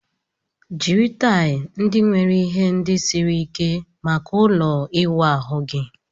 Jiri taịl ndị nwere ihe ndị siri ike maka ụlọ ịwụ ahu gị